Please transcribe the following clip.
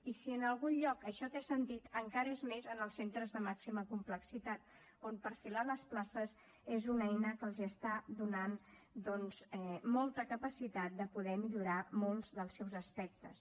i si en algun lloc això té sentit encara és més en els centres de màxima complexitat on perfilar les places és una eina que els està donant doncs molta capacitat de poder millorar molts dels seus aspectes